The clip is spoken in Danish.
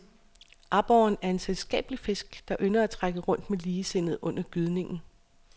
Aborren er en selskabelig fisk, der ynder at trække rundt med ligesindede under gydningen.